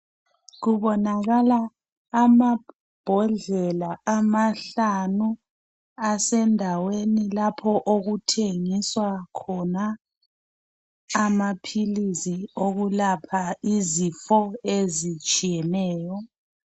Kubonakala amambhodlela amahlanu asendaweni lapho okuthengiswa khona amaphilisi okulapha izifo ezitshiyeneyo